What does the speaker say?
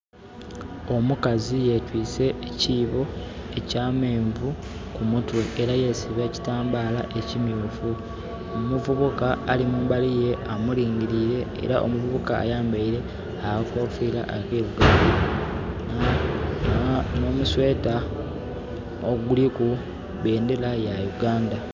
Omukazi yetwiise ekiibo eky'ameenvu ku mutwe. Era yesiba ekitambaala ekimyufu. Omuvubuka ali mumbali ghe amulingiliire, era omuvubuka ayambaile akakofira, akairugavu, nh'omu sweater oguliku bendera ya Uganda.